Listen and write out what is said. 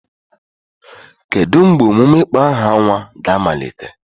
Kedu mgbe emume ịkpọ aha nwa ga-amalite?